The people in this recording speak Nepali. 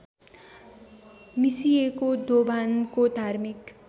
मिसिएको दोभानको धार्मिक